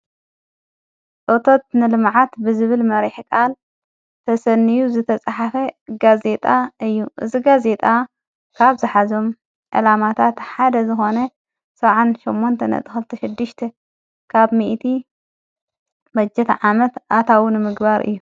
ኦቶት ንልመዓት ብዝብል መሪሕ ቓል ተሰንዩ ዝተጽሓፈ እጋ ዜጣ እዩ እዝጋ ዜጣ ካብ ዝኃዞም ዕላማታ ተሓደ ዝኾነ ሠውዓን ሸሞንተ ነጥኸልተ ሽድሽቲ ካብ ሚእቲ መጀት ዓመት ኣታውንምግባር እዩ።